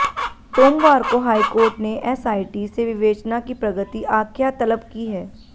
सोमवार को हाईकोर्ट ने एसआईटी से विवेचना की प्रगति आख्या तलब की है